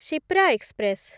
Shipra express